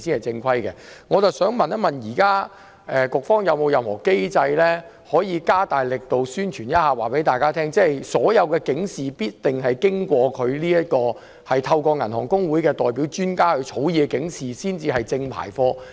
請問局方現時有沒有任何機制，可以加大力度宣傳並告知公眾，透過香港銀行公會發放的由銀行代表專家草擬的警示才是正規的警示？